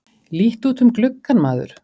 Líttu út um gluggann, maður!